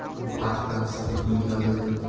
Bu haqda Sputnik yozadi .